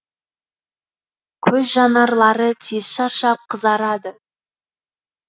көз жанарлары тез шаршап қызарады